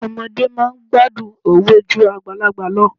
Ọmọdé máa ń gbádùn òwe ju àgbàlagbà lọ.